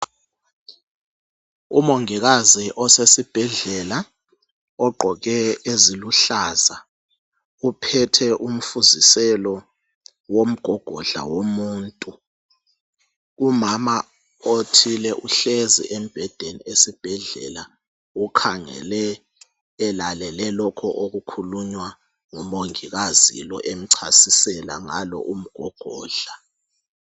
Umongikazi osesibhedlela ogqoke eziluhlaza uphethe umfuziselo womgogodla womuntu. Umama othile uhlezi embhedeni esibhedlela ukhangele elalele lokho okukhulunywa ngumongikazi lo emchasisela ngalo umgogodla.